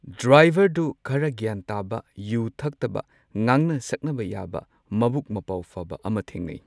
ꯗ꯭ꯔꯥꯏꯚꯔꯗꯨ ꯈꯔ ꯒ꯭ꯌꯥꯟ ꯇꯥꯕ ꯌꯨ ꯊꯛꯇꯕ ꯉꯥꯡꯅ ꯁꯛꯅꯕ ꯌꯥꯕ ꯃꯕꯨꯛ ꯃꯄꯥꯎ ꯐꯕ ꯑꯃ ꯊꯦꯡꯅꯩ꯫